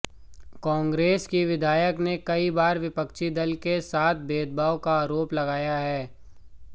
कांग्रेस की विधायक ने कई बार विपक्षी दल के साथ भेदभाव का आरोप लगाया है